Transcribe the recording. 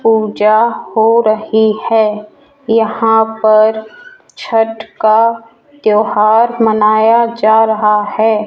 पूजा हो रही है यहां पर छठ का त्यौहार मनाया जा रहा है।